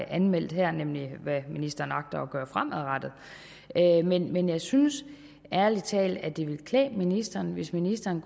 anmeldt her nemlig hvad ministeren agter at gøre fremadrettet men jeg synes ærlig talt at det ville klæde ministeren hvis ministeren